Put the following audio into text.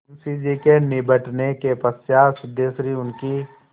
मुंशी जी के निबटने के पश्चात सिद्धेश्वरी उनकी